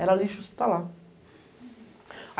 Era lixo hospitalar